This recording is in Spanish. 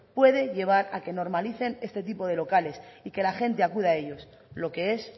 puede llevar a que normalicen este tipo de locales y que la gente acuda a ellos lo que es